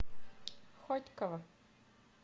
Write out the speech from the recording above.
хотьково